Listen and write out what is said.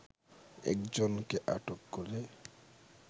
একজনকে আটক করে